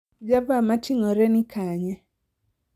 java ma ting'ore ni kanye